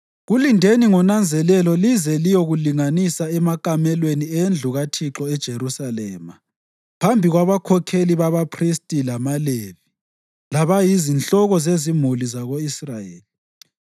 Kulindeni ngonanzelelo lize liyokulinganisa emakamelweni endlu kaThixo eJerusalema phambi kwabakhokheli babaphristi lamaLevi labayizinhloko zezimuli zako-Israyeli.”